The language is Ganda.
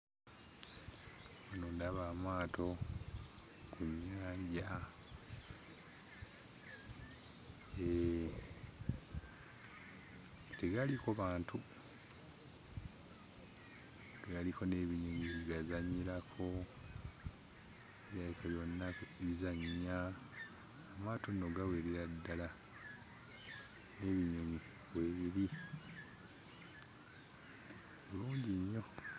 Wano ndaba amaato ku nnyanja. Hee, tegaliiko bantu, galiko n'ebinyonyi bigazannyirako, birabika byonna bizannya. Amaato nno gawerera ddala, n'ebinyonyi weebiri bulungi nnyo.